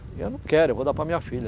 E eu não quero, eu vou dar para minha filha.